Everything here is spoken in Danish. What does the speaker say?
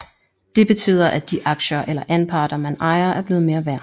Det betyder at de aktier eller anparter man ejer er blevet mere værd